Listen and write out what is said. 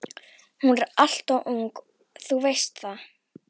Hún er alltof ung, þú veist það.